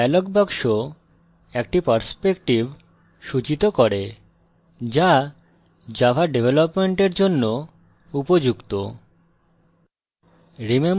dialog box একটি perspective সূচিত করে the java ডেভেলপমেন্টের জন্য উপযুক্ত